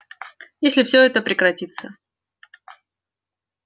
если всё это прекратится